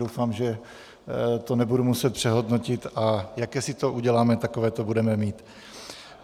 Doufám, že to nebudu muset přehodnotit, a jaké si to uděláme, takové to budeme mít.